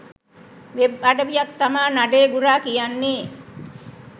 web අඩවියක් තමා නඩේ ගුරා කියන්නේ